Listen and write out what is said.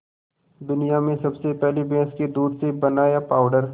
दुनिया में सबसे पहले भैंस के दूध से बनाया पावडर